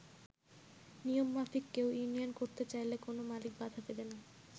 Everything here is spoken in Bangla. নিয়মমাফিক কেউ ইউনিয়ন করতে চাইলে কোন মালিক বাধা দেবে না।